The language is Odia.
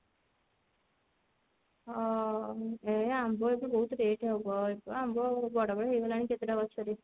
ହଁ ଏ ଆମ୍ବ ଏବେ ବହୁତ rate ହବ ଏବେ ଆମ୍ବ ବଡ ବି ହେଇଗଲାଣି କେତେ ଟା ଗଛ ରେ